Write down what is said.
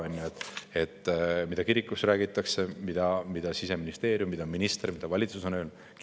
Aga ka kirikus räägitakse, mida Siseministeerium teeb, mida minister on öelnud või mida valitsus on öelnud.